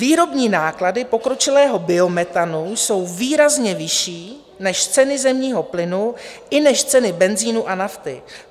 Výrobní náklady pokročilého biometanu jsou výrazně vyšší než ceny zemního plynu i než ceny benzinu a nafty.